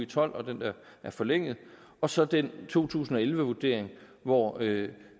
tolv og den der er forlænget og så den to tusind og elleve vurdering hvor